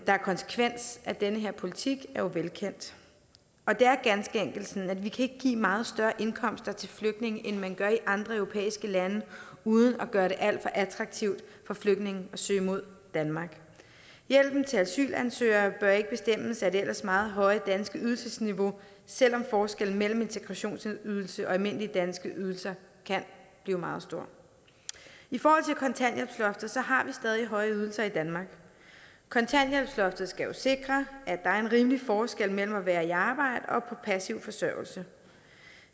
konsekvensen af den politik er jo velkendt det er ganske enkelt sådan at vi ikke kan give meget større indkomster til flygtninge end man gør i andre europæiske lande uden at gøre det alt for attraktivt for flygtningene at søge mod danmark hjælpen til asylansøgere bør ikke bestemmes af det ellers meget høje danske ydelsesniveau selv om forskellen mellem en integrationsydelse og almindelige danske ydelser kan blive meget stor i forhold til kontanthjælpsloftet har vi stadig høje ydelser i danmark kontanthjælpsloftet skal jo sikre at der er en rimelig forskel mellem at være i arbejde og på passiv forsørgelse